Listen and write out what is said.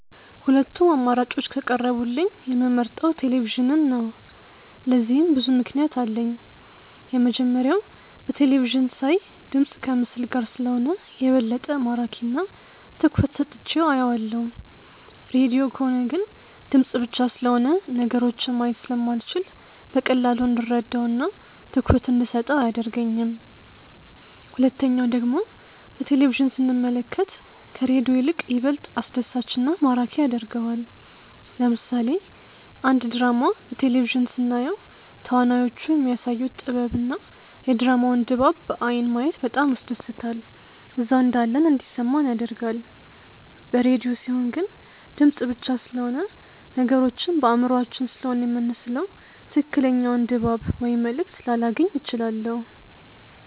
ሁለቱም አማራጮች ከቀረቡልኝ የምመርጠው ቴሌቪዥንን ነው። ለዚህም ብዙ ምክንያት አለኝ። የመጀመሪያው በቴለቪዥን ሳይ ድምፅ ከምስል ጋር ስለሆነ የበለጠ ማራኪ እና ትኩረት ሰጥቼው አየዋለሁ። ሬድዮ ከሆነ ግን ድምፅ ብቻ ስለሆነ ነገሮችን ማየት ስለማልችል በቀላሉ እንድረዳው እና ትኩረት እንደሰጠው አያደርገኝም። ሁለተኛው ደግሞ በቴሌቪዥን ስንመለከት ከሬዲዮ ይልቅ ይበልጥ አስደሳች እና ማራኪ ያደርገዋል። ለምሳሌ አንድ ድራማ በቴሌቪዥን ስናየው ተዋናዮቹ የሚያሳዩት ጥበብ እና የድራማውን ድባብ በአይን ማየት በጣም ያስደስታል እዛው እንዳለን እንዲሰማን ያደርጋል። በሬድዮ ሲሆን ግን ድምፅ ብቻ ስለሆነ ነገሮችን በአእምሯችን ስሴሆነ የምንስለው ትክክለኛውን ድባብ ወይም መልእክት ላላገኝ እችላለሁ።